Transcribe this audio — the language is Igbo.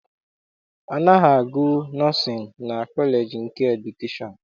A naghị agụ nọọsịn na kọleji nke edukeshọn.